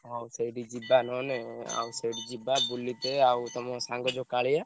ହଉ ସେଇଠି ଯିବା ନହେଲେ ଆଉ ସେଇଠି ଯିବା ବୁଲିତେ ଆଉ ତମ ସାଙ୍ଗ ଯୋଉ କାଳିଆ।